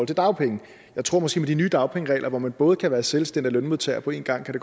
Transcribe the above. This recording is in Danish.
til dagpenge jeg tror måske med de nye dagpengeregler hvor man både kan være selvstændig og lønmodtager på en gang